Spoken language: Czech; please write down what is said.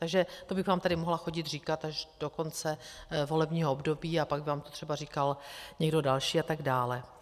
Takže to bych vám tady mohla chodit říkat až do konce volebního období a pak by vám to třeba říkal někdo další atd.